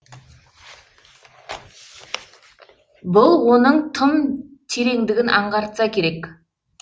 бұл оның тым тереңдігін аңғартса керек